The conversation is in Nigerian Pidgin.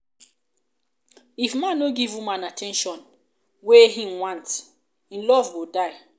if man no dey give woman at ten tion wey e want e love go dey die